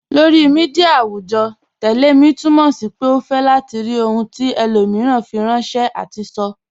Lọri míḍíà awùjọ́, "tẹlẹ̀ mi" túmọ̀ sí pé o fẹ́ látì rí ohun tí ẹlòmíran fíranṣẹ̀ àti sọ́.